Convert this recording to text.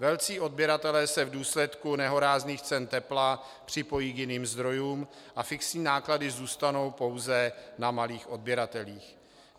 Velcí odběratelé se v důsledku nehorázných cen tepla připojí k jiným zdrojům a fixní náklady zůstanou pouze na malých odběratelích.